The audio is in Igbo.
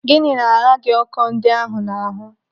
Gịnị na-agha gị ọkọ ndị ahụ n'ahụ?